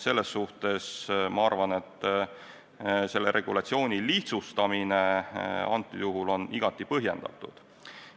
Selles suhtes ma arvan, et regulatsiooni lihtsustamine antud juhul on igati põhjendatud.